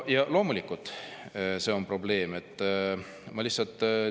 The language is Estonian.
Ja loomulikult, see on probleem.